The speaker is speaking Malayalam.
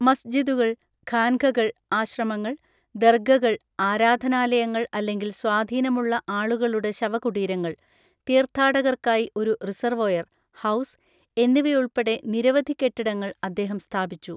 മസ്ജിദുകൾ, ഖാൻഖകൾ (ആശ്രമങ്ങൾ), ദർഗകൾ (ആരാധനാലയങ്ങൾ അല്ലെങ്കിൽ സ്വാധീനമുള്ള ആളുകളുടെ ശവകുടീരങ്ങൾ), തീർത്ഥാടകർക്കായി ഒരു റിസർവോയർ (ഹൗസ്) എന്നിവയുൾപ്പെടെ നിരവധി കെട്ടിടങ്ങൾ അദ്ദേഹം സ്ഥാപിച്ചു.